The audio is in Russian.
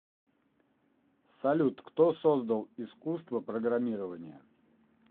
салют кто создал искусство программирования